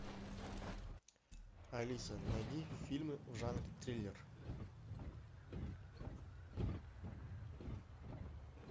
алиса найди фильмы в жанре триллер